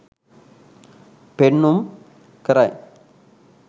පෙන්නුම් කරයි